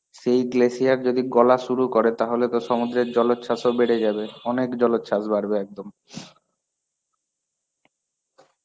সেই glacier যদি গলা শুরু করে তাহলে তো সমুদ্রের জলচ্ছাসও বেড়ে যাবে. অনেক জলচ্ছাস বাড়বে একদম.